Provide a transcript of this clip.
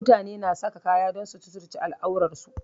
Mutane na sa kaya don suturce al'auransu